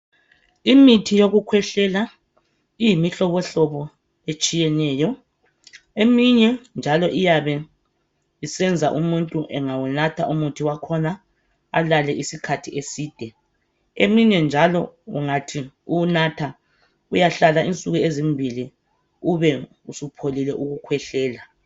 Imithi yokukhwehlela iyimihlobohlobo etshiyeneyo eminye njalo iyabe isenza umuntu engawunatha umuthi wakhona alale isikhathi eside eminye njalo ungathi uwunatha uyahlala insuku ezimbili ube usupholile ukukhwehlela.